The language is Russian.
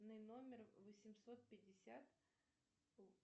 на номер восемьсот пятьдесят